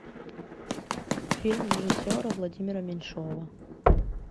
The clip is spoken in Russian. фильм режиссера владимира меньшова